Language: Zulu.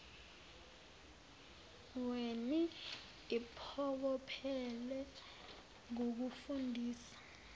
weni iphokophele ngokufundisa